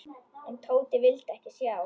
En Tóti vildi ekki sjá.